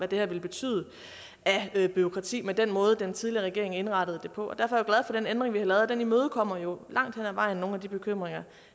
det ville betyde af bureaukrati med den måde den tidligere regering indrettede det på derfor er for den ændring vi har lavet den imødekommer jo langt hen ad vejen nogle af de bekymringer